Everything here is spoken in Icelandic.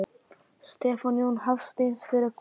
Stefán Jón Hafstein: Fyrir hvað?